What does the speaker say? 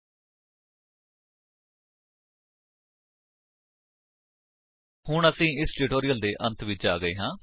http spoken tutorial org ਨਮੈਕਟ intro ਹੁਣ ਅਸੀ ਇਸ ਟਿਊਟੋਰਿਅਲ ਦੇ ਅੰਤ ਵਿੱਚ ਆ ਗਏ ਹਾਂ